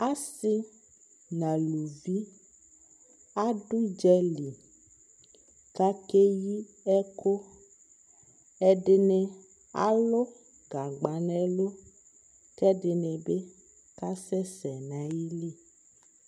ɔsii nʋ alʋvi adʋ ʋdzali kʋ akɛyi ɛkʋ, ɛdini alʋ gagba nʋ ɛlʋ kʋ ɛdibi kasɛsɛ nʋ ali